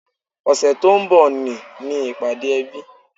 Ọ̀sẹ̀ tó ń bọ̀ ni ní ìpàdé ẹbí